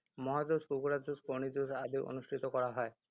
ম’হ যুঁজ, কুকুৰা যুঁজ, কণী যুঁজ আদি অনুষ্ঠিত কৰা হয়।